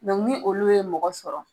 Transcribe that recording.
Dɔnku ni olu ye mɔgɔ sɔrɔ